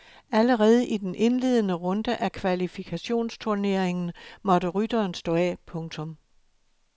Allerede i den indledende runde af kvalifikationsturneringen måtte rytteren stå af. punktum